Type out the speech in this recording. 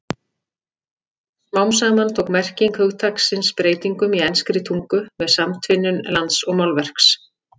Smám saman tók merking hugtaksins breytingum í enskri tungu með samtvinnun lands og málverks.